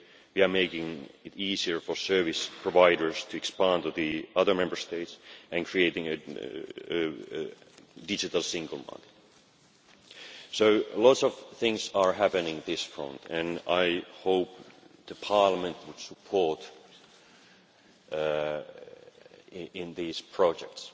We are making it easier for service providers to expand to the other Member States and creating a digital single market. So lots of things are happening on this front and I hope Parliament will support these projects.